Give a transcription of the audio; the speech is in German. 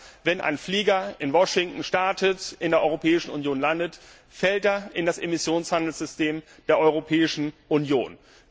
Das heißt, wenn ein Flugzeug in Washington startet und in der Europäischen Union landet, fällt das unter das Emissionshandelssystem der Europäischen Union.